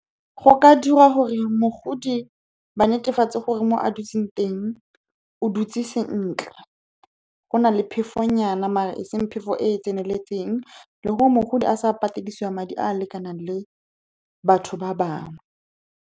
Go ka diriwa gore mogodi a netefatse gore mo a dutse teng o dutse sentle, go na le phefonyana, mare e seng phefo e e tseneletseng, le gore mogodi a sa pateledisiwa madi a a lekanang le batho ba bangwe.